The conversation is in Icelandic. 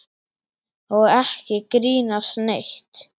Og ekki grínast neitt!